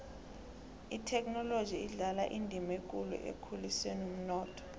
ithekhinoloji idlala indima ekulu ekukhuliseni umnotho